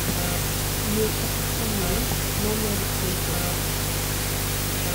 yie kata tamri, nomed compost?